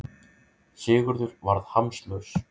Sigurður varð hamslaus.